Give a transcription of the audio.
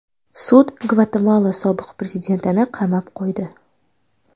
Sud Gvatemala sobiq prezidentini qamab qo‘ydi.